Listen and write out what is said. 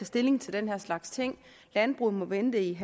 stilling til den her slags ting landbruget må vente i